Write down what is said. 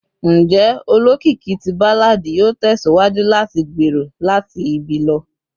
Njẹ olokiki ti balladi yoo tẹsiwaju lati gbero lati ibi lọ?